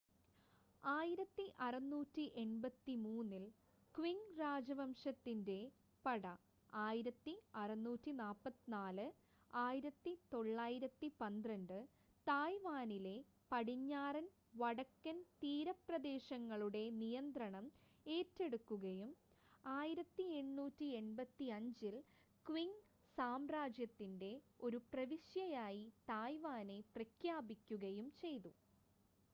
1683-ൽ Qing രാജവംശത്തിന്റെ പട 1644-1912 തായ്‌വാനിലെ പടിഞ്ഞാറൻ വടക്കൻ തീരപ്രദേശങ്ങളുടെ നിയന്ത്രണം ഏറ്റെടുക്കുകയും 1885-ൽ ക്വിങ് സാമ്രാജ്യത്തിന്റെ ഒരു പ്രവിശ്യയായി തായ്‌വാനെ പ്രഖ്യാപിക്കുകയും ചെയ്തു